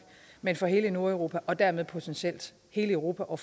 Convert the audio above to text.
men for hele nordeuropa og dermed potentielt hele europa og